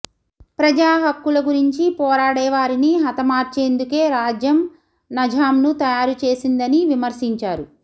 ప్రజా హక్కుల గురించి పోరాడే వారిని హతమార్చేందుకే రాజ్యం నరుూంను తయారు చేసిందని విమర్శించారు